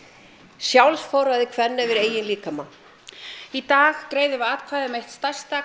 sjálfsforræði kvenna yfir eigin líkama í dag greiðum við atkvæði um eitt stærsta